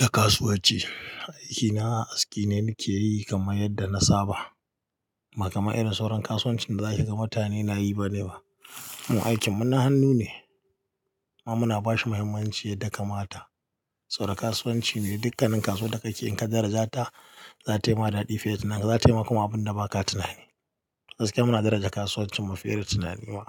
na kasuwanci. Aikina aski ne nike yi kamar yadda na saba. Ba kamar irin sauran kasuwancin da zaki ga mutane nayi bane ba. Mu aikin mu na hannu ne, kuma muna bashi mahimmanci da kamata. Saboda kasuwanci ne, dukkanin kasuwar da kake yi, in ka daraja ta, za tayi ma daɗi fiye da Za ta yi ma kuma abin da baka tunani. Gaskiya muna daraja kasuwancin mu fiye da tunani ma.